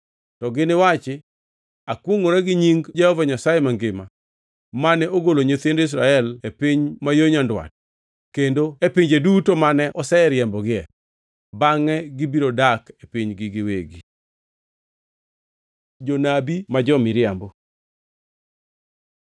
to giniwachi, ‘Akwongʼora gi nying Jehova Nyasaye mangima, mane ogolo nyithind Israel e piny ma yo nyandwat kendo e pinje duto mane oseriembogie.’ Bangʼe gibiro dak e pinygi giwegi.” Jonabi ma jo-miriambo